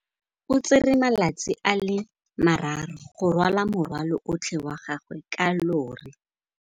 O tsere malatsi a le marraro go rwala morwalo otlhe wa gagwe ka llori.